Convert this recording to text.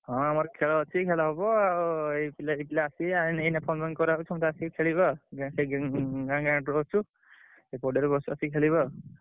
ହଁ ଆମର ଖେଳ ଅଛି। ଖେଳ ହବ ଆଉ ଏଇ ପିଲା ଦି ପିଲା ଆସିବେ ଆଁ ଏଇନା phone ଫାନ କରାହଉଛି। ସମସ୍ତେ ଆସି ଖେଳିବେ ଆଉ ଗା ସେ ଗା ଗାଁ ଗାଁ ଅଛୁ ସେ ପଡିଆରେ ଖେଳିବା ଆଉ।